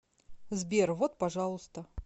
сбер вот пожалуйста